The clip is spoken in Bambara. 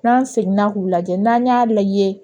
N'an seginna k'u lajɛ n'an y'a lajɛ